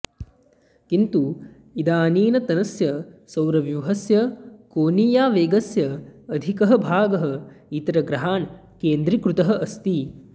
किन्तु इदानीन्तनस्य सौरव्यूहस्य कोनीयावेगस्य अधिकः भागः इतरग्रहान् केन्द्रीकृतः अस्ति